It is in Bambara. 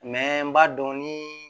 n b'a dɔn ni